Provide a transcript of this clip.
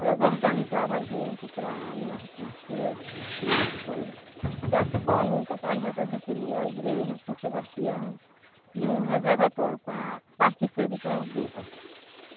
Elas organizavam a gente para ir na na CHESP, pedir as coisa, que aqui foi uma luta para a gente adquirir a igreja de São Sebastião e um reservatório para abastecer de carro-pipa.